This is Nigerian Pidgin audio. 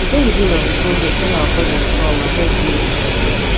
we dey middle of di project wen our cousins kom and hep build di model